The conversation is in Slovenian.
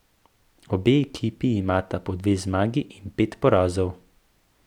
Obe ekipi imata po dve zmagi in pet porazov.